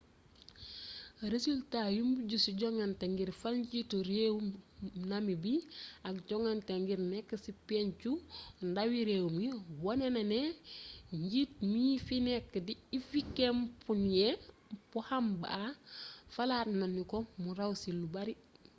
resultaa yu mujj ci jongante ngir fal njiitu réewu namibi ak jongante ngir nekk ci pencu ndawi réew mi wone na ne njiit mii fi nekk di hifikepunye pohamba falaat nanu ko mu raw ci lu bare